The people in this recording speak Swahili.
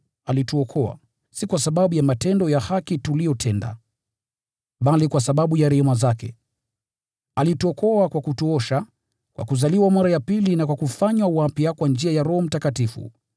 alituokoa, si kwa sababu ya matendo ya haki tuliyotenda, bali kwa sababu ya rehema zake. Alituokoa kwa kutuosha kwa kuzaliwa mara ya pili na kwa kufanywa wapya kwa njia ya Roho Mtakatifu,